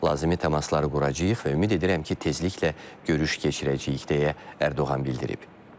Lazımi təmasları quracağıq və ümid edirəm ki, tezliklə görüş keçirəcəyik, deyə Ərdoğan bildirib.